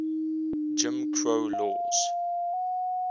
jim crow laws